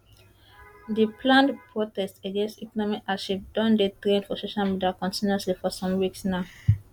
di planned protest against economic hardship don dey trend for social media continuously for some weeks now